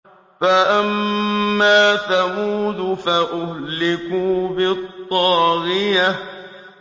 فَأَمَّا ثَمُودُ فَأُهْلِكُوا بِالطَّاغِيَةِ